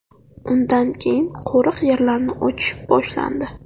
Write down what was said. Undan keyin qo‘riq yerlarni ochish boshlandi.